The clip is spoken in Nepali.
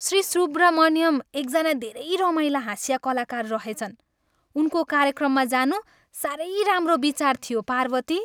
श्री सुब्रमण्यम एकजना धेरै रमाइला हास्य कलाकार रहेछन्। उनको कार्यक्रममा जानु साह्रै राम्रो विचार थियो, पार्वती।